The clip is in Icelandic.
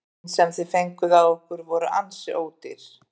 Mörkin sem þið fenguð á ykkur voru ansi ódýr?